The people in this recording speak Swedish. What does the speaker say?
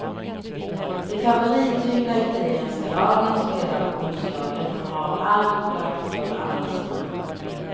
De favorittyngda italienska lagen spelar på onsdagen och har allt upplagt för avancemang.